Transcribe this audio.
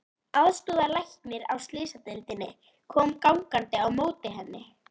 Aðstoðarlæknir á slysadeildinni kom gangandi á móti henni.